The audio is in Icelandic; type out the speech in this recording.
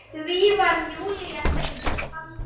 Því var Júlía fegin.